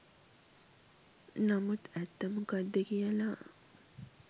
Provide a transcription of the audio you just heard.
නමුත් ඇත්ත මොකද්ද කියලා